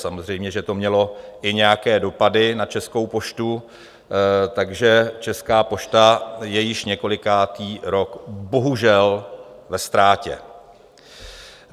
Samozřejmě že to mělo i nějaké dopady na Českou poštu, takže Česká pošta je již několikátý rok bohužel ve ztrátě.